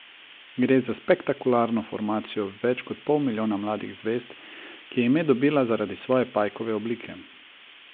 Gre za spektakularno formacijo več kot pol milijona mladih zvezd, ki je ime dobila zaradi svoje pajkove oblike.